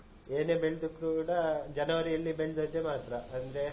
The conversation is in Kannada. ಏನೇ ಬೆಳ್ದಿದ್ರೂ ಕೂಡ ಜನವರಿಯಲ್ಲಿ ಬೆಳ್ದದ್ದೆ ಮಾತ್ರ ಅಂದ್ರೆ.